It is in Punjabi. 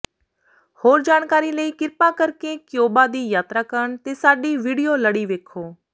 ਹੋਰ ਜਾਣਕਾਰੀ ਲਈ ਕ੍ਰਿਪਾ ਕਰਕੇ ਕਿਊਬਾ ਦੀ ਯਾਤਰਾ ਕਰਨ ਤੇ ਸਾਡੀ ਵਿਡੀਓ ਲੜੀ ਵੇਖੋ